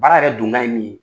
Baara yɛrɛ donkan ye min ye.